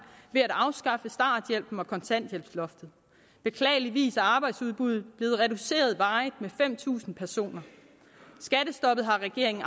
ved at afskaffe starthjælpen og kontanthjælpsloftet beklageligvis er arbejdsudbuddet blevet reduceret varigt med fem tusind personer skattestoppet har regeringen